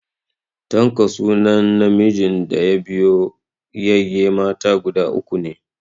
Tanko sunan namijin da ya biyo yayye mata guda uku ko ne.